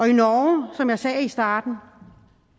norge som jeg sagde i starten